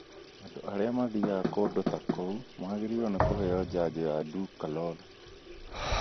Andũ arĩa mathiaga kũndũ ta kũu magĩrĩirwo nĩ kũheo njajo ya Dukoral.